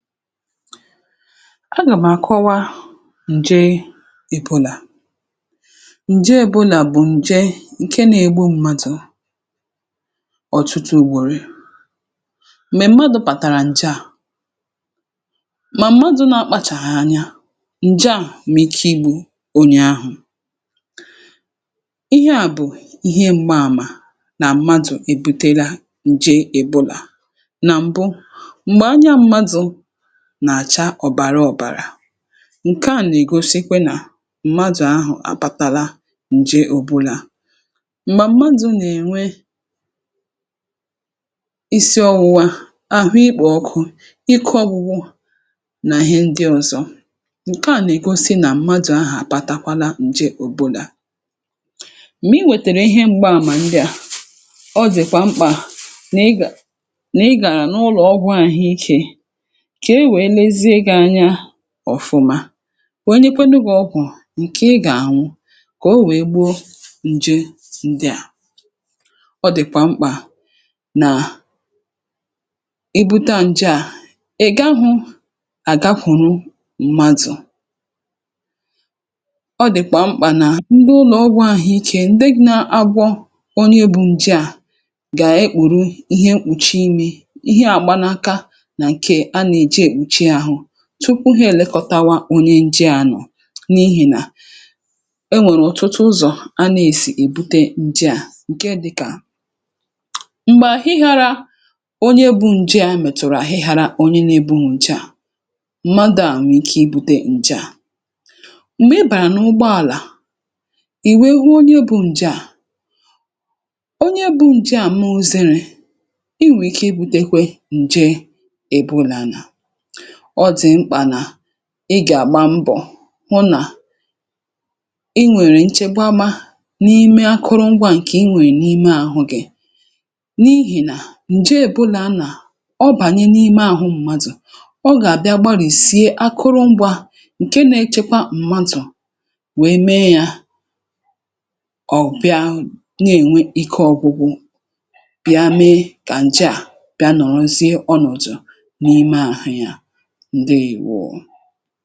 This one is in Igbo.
Agàmàkọwa ǹje Èbòlà. Ǹje Èbòlà bụ̀ ǹje ǹke na-egbu m̀madụ̀ ọ̀tụtụ ugbòrè, mèè mmadụ̇ pàtàrà ǹje à, mà mmadụ̇ na-akpachàghà anya ǹje à. um mịkọ Ìgbò ònyè ahụ̀, ihe à bụ̀ ihe m̀gba àmà nà mmadụ̀ èbutela ǹje Èbòlà nà m̀bụ. [N’ihi ya], ǹkẹ̀ à nà-egosi kwẹ nà mmadụ̀ ahụ̀ àpatala ǹje Èbòlà. M̀gbà mmadụ̀ nà-enwe isi ọwụwa, ahụ̀ ịkpọ̀ ọkụ, ịkụ̇ ọgwụgwụ, nà hẹ ndị ọzọ, ǹkẹ̀ à nà-egosi nà mmadụ̀ ahụ̀ àpatakwala ǹje Èbòlà. M̀gbè i wètèrè ihe m̀gba àmà ndị a, ọjị̀kwa mkpà nà ịgà nà ịgàrà n’ụlọ̀ ọgwụ àhụ̀iké ọ̀fụma, wèe nyekwanụ gị ọgwụ̀ ǹke ị gà-àhụ, kà o wèe gbuo ǹje ǹdị a. Ọ dị̀kwà mkpà nà ebute à ǹje à. Ị̀ gà hụ àga kwùrù mmadụ̀, ọ dị̀kwà mkpà nà ǹdeụlọ̀ ọgwụ̇ àhụ̀iké ǹdeeghi̇ na-agwọ ọnụ, e bụ̇ ǹje à. Gà-èkpùru ihe mkpùchi, ime ihe à gbanaka, tupu ha èlekọta wa onye nje. Anọ̀ n’ihìnà enwèrè ọ̀tụtụ ụzọ̀ anà-èsì èbute ǹje à, ǹke dịkà m̀gbè àhịhịaara onye ebù ǹje à, mètụ̀rụ̀ àhịhịaara onye n’ebe nwògdo à nwè ike ibu̇tė ǹje à. [so] M̀gbè ị bàrà n’ụgbọ àlà, ìwèe hụ onye bụ̇ ǹje à, onye ebù ǹje à, mụzịrị, i nwèrè ike ịbu̇tekwe ǹje ebeulahụ̀. Ọ dị̀ mkpà nà ị gà-àgba mbọ̀ hụ nà enwèrè nchegbamȧ n’ime akụrụ ngwȧ ǹkè i nwèrè n’ime ahụ̇ gị̇. um n’ihìnà ǹje ebula nà ọ bànye n’ime ahụ m̀madụ̀, ọ gà-àbịa gbarìsie akụrụ ngwȧ ǹke na-echekwa mmadụ̀, wèe mee yȧ ọ̀ bịa na-ènwe ike ọgwụgwụ, bịa mee kà ǹje à bịa nọ̀rọzịe ọnọ̀dụ̀ n’ime ahụ̇ ya. Ǹdewo.